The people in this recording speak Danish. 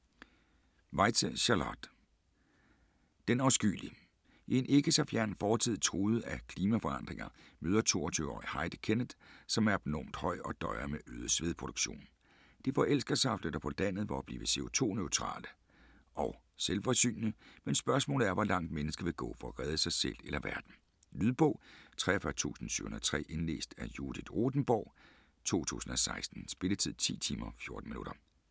Weitze, Charlotte: Den afskyelige I en ikke så fjern fremtid, truet af klimaforandringer møder 22-årige Heidi Kenneth, som er abnormt høj og døjer med øget svedproduktion. De forelsker sig og flytter på landet for at blive co2-neutrale og selvforsynende, men spørgsmålet er hvor langt mennesket vil gå for at redde sig selv eller verden. Lydbog 43703 Indlæst af Judith Rothenborg, 2016. Spilletid: 10 timer, 14 minutter.